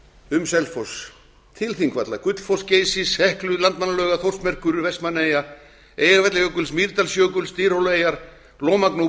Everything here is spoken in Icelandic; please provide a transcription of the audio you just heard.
um selfoss til þingvalla gullfoss geysis heklu landmannalauga þórsmerkur vestmannaeyja eyjafjallajökuls mýrdalsjökuls dyrhólaeyjar lómagnúps